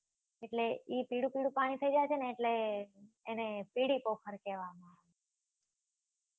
એટલે એ પીળું પીળું પાણી થઇ જાય છે એટલે એને પીલીપોખર કહેવા માં આવે છે